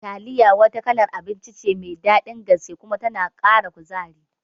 Taliya wani kalar abinci ce mai daɗin gaske kuma tana Kara kuzari